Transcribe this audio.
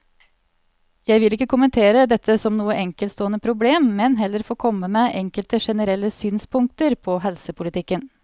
Jeg vil ikke kommentere dette som noe enkeltstående problem, men heller få komme med enkelte generelle synspunkter på helsepolitikken.